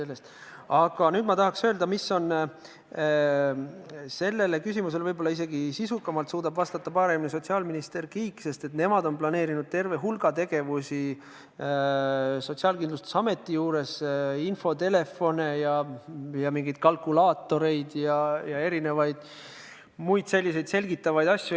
Ent nüüd ma tahan öelda, et sellele küsimusele oskab sisukamalt vastata sotsiaalminister Kiik, sest nemad on planeerinud terve hulga tegevusi Sotsiaalkindlustusametis: infotelefone ja mingeid kalkulaatoreid ja erinevaid muid selliseid selgitavaid asju.